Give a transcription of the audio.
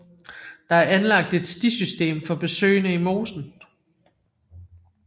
Der er anlagt et stisystem for besøgende i mosen